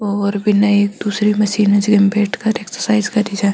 और बिन एक दूसरी मशीन है जिम बैठ कर एक्सरसाइज करी जा है।